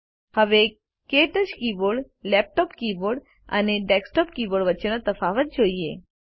હવે ક્ટચ keyboard laptop keyboard અને ડેસ્કટોપ કીબોર્ડ વચ્ચેનો તફાવત જોઈએ